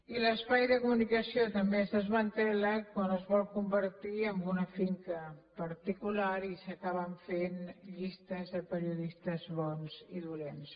i l’espai de comunicació també es desmantella quan es vol convertir en una finca particular i s’acaben fent llistes de periodistes bons i dolents